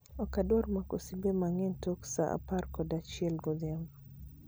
Ok adwar mako simbe mang'eny tok saa apar kod achiel odhiambo